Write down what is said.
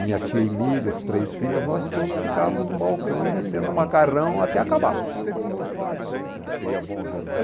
Minha tia Emília, os três filhos, nós todos ficávamos no balcão e vendendo macarrão até acabar.